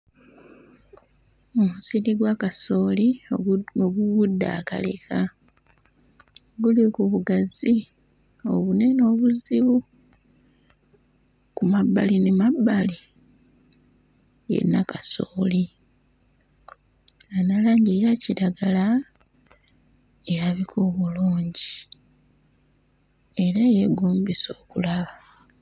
Omusiri gwa kasooli ogu ogugudde akaleka guli ku bugazi obunene obuzibu. Ku mabbali n'emabbali yenna kasooli ayina langi eya kiragala erabika obulungi era eyeegombesa okulaba.